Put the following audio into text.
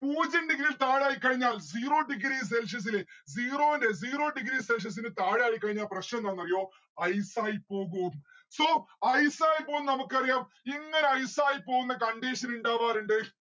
പൂജ്യം degree ല് താഴെയായി കഴിഞ്ഞാൽ zero degree celsius ല് zero ന്റെ zero degree celsius ല് താഴെയായി കഴിഞ്ഞാൽ പ്രശ്ന എന്താന്ന് അറിയോ ice ആയിപ്പോകു അത്. so ice ആയി പോയി നമ്മുക്ക് അറിയാം ഇങ്ങനെ ice ആയി പോവുന്ന condition ഇണ്ടാവാറിണ്ട്‌